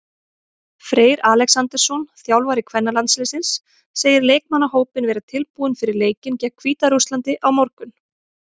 Freyr Alexandersson, þjálfari kvennalandsliðsins, segir leikmannahópinn vera tilbúinn fyrir leikinn gegn Hvíta-Rússlandi á morgun.